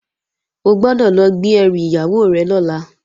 O gbọ́dọ̀ lọ gbé ẹrù ìyàwó rẹ̀ lọ́la!